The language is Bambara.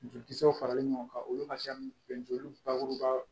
Jolikisɛw faralen ɲɔgɔn kan olu ka fɛn bɛɛ joli bakuruba